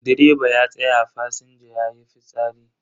Direba ya tsaya fasinja yayi fitsari.